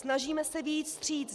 Snažíme se vyjít vstříc.